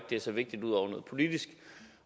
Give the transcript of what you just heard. det er så vigtigt ud over noget politisk